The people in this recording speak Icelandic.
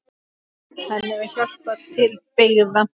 Henni var hjálpað til byggða.